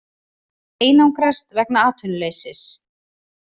Einangrast vegna atvinnuleysis